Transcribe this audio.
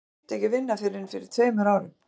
Hann hætti ekki að vinna fyrr en fyrir tveim árum.